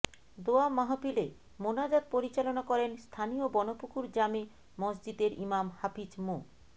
দোয়া মাহফিলে মোনাজাত পরিচালনা করেন স্থানীয় বনপুকুর জামে মসজিদের ইমাম হাফিজ মো